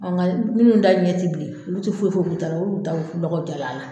nka minnu ta ɲɛ ti bilen, olu ti foyi foyi k'u ta la, olu taw lɔgɔ diya na